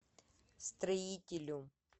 строителю